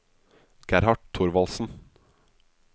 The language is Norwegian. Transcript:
Gerhard Thorvaldsen